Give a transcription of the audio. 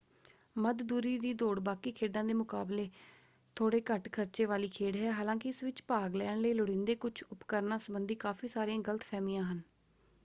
ਮੱਧ ਦੂਰੀ ਦੀਂ ਦੌੜ ਬਾਕੀ ਖੇਡਾਂ ਦੇ ਮੁਕਾਬਲੇ ਥੋੜ੍ਹੇ ਘੱਟ ਖ਼ਰਚੇ ਵਾਲੀ ਖੇਡ ਹੈ; ਹਾਲਾਂਕਿ ਇਸ ਵਿੱਚ ਭਾਗ ਲੈਣ ਲਈ ਲੋੜੀਂਦੇ ਕੁਝ ਉਪਕਰਨਾਂ ਸੰਬੰਧੀ ਕਾਫ਼ੀ ਸਾਰੀਆਂ ਗ਼ਲਤ-ਫ਼ਹਿਮੀਆਂ ਹਨ।